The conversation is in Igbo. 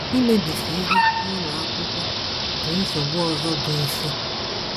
Imebisi ihe n’ụlọ akwụkwọ bụ nsogbu ọzọ bụ́ isi.